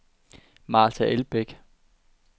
Marta Elbæk